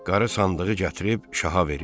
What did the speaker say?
Qarı sandığı gətirib şaha verir.